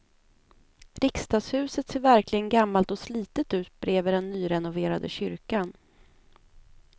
Riksdagshuset ser verkligen gammalt och slitet ut bredvid den nyrenoverade kyrkan.